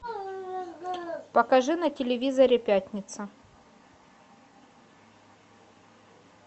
покажи на телевизоре пятница